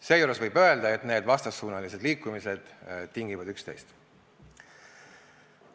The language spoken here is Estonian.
Seejuures võib öelda, et need vastassuunalised liikumised tingivad üksteist.